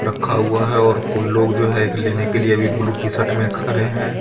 रखा हुआ हे और कोई लोग जो हे एक लेने के लिए अभी बुलु टीशर्ट मे खरे हे.